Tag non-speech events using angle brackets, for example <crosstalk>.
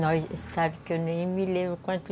<unintelligible> sabe que eu nem me lembro <unintelligible>